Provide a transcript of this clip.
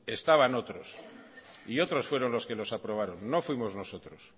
estaban otros y otros fueron los que los aprobaron no fuimos nosotros